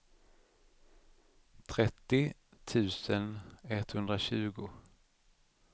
trettio tusen etthundratjugo